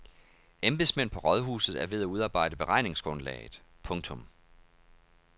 Embedsmænd på rådhuset er ved at udarbejde beregningsgrundlaget. punktum